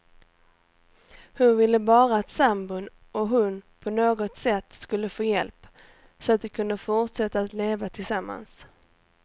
Hon ville bara att sambon och hon på något sätt skulle få hjälp, så att de kunde fortsätta att leva tillsammans.